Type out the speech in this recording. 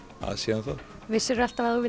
að síðan þá vissirðu alltaf að